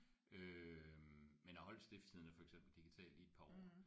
Øh men jeg holdte Stiftstidende for eksempel digitalt i et par år